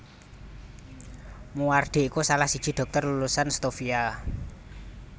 Moewardi iku salah siji dhokter lulusan Stovia